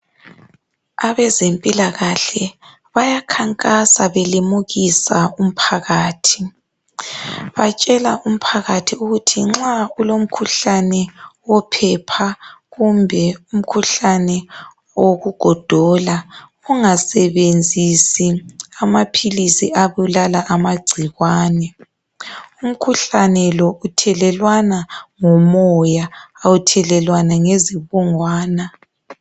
Abezempilakahle bayakhankasa belimukisa umphakathi. Batshela umphakathi ukuthi nxa kulomkhuhlane wophepha kumbe umkhuhlane wokugodola ungasebenzisi amaphilisi abulala amagciwane, umkhuhlane lo uthelelwana ngomoya awuthelelwana ngezibungwana.